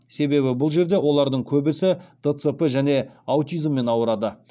себебі бұл жерде олардың көбісі дцп және аутизммен ауырады